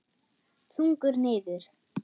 Þungur niður.